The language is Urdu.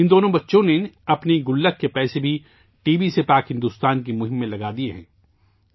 ان دونوں بچوں نے اپنے غلک کے پیسے بھی ٹی بی سے پاک بھارت کی مہم میں لگا دیئے ہیں